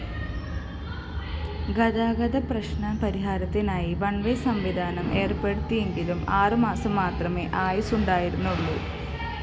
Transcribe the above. ഗതാഗതപ്രശ്‌നപരിഹാരത്തിനായി one way സംവിധാനം ഏര്‍പ്പെടുത്തിയെങ്കിലും ആറുമാസം മാത്രമേ ആയുസുണ്ടായിരുന്നുള്ളൂ